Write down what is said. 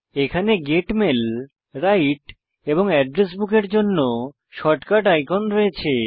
এখানে get mail right এবং address book এর জন্য শর্টকাট আইকন রয়েছে